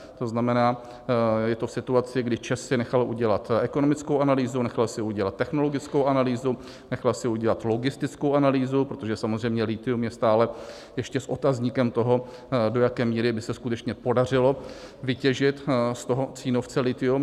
To znamená, je to v situaci, kdy ČEZ si nechal udělat ekonomickou analýzu, nechal si udělat technologickou analýzu, nechal si udělat logistickou analýzu, protože samozřejmě lithium je stále ještě s otazníkem toho, do jaké míry by se skutečně podařilo vytěžit z toho Cínovce lithium.